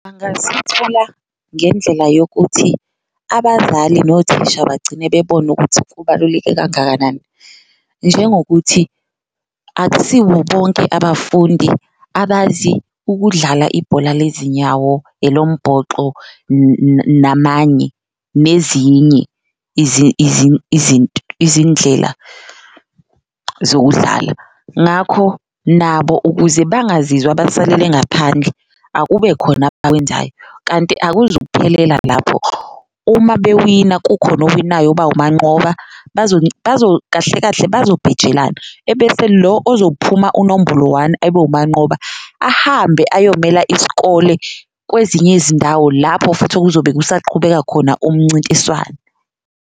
Angasithola ngendlela yokuthi abazali nothisha bagcine bebona ukuthi kubaluleke kangakanani njengokuthi akusiwo bonke abafundi abazi ukudlala ibhola lezinyawo, elombhoxo namanye nezinye izindlela zokudlala. Ngakho nabo ukuze bangazizwa abasalele ngaphandle akube khona abakwenzayo, kanti akuzukuphelela lapho uma bewina kukhona owinayo oba wunqoba kahle kahle bazobhejelana. Ebese lo ozophuma unombolo one ebewumanqoba ahambe ayomela isikole kwezinye izindawo lapho futhi okuzobe kusaqhubeka khona umncintiswano.